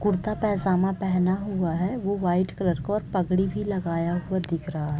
कुर्ता पैजामा पहना हुआ है वो वाइट कलर का और पगड़ी भी लगाया हुआ दिख रहा हैं। _